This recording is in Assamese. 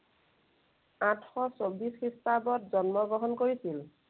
আঠশ চৌব্বশ খ্ৰীষ্টাব্দত জন্মগ্ৰহণ কৰিছিল।